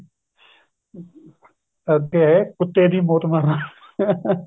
ਅੱਗੇ ਕੁੱਤੇ ਦੀ ਮੋਤ ਮਰਨਾਂ caughing